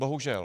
Bohužel.